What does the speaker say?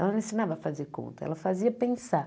Ela não ensinava a fazer conta, ela fazia pensar.